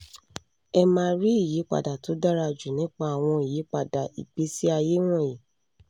ẹ máa rí ìyípadà tó dára jù nípa àwọn ìyípadà ìgbésí ayé wọ̀nyí